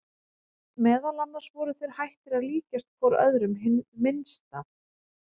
Meðal annars voru þeir hættir að líkjast hvor öðrum hið minnsta.